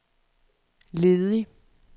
ledig